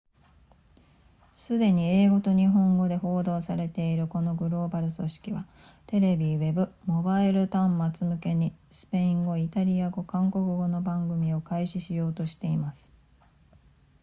すでに英語と日本語で報道されているこのグローバル組織はテレビウェブモバイル端末向けにスペイン語イタリア語韓国語の番組を開始しようとしています